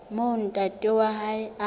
moo ntate wa hae a